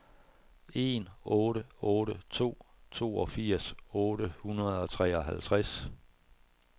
en otte otte to toogfirs otte hundrede og treoghalvtreds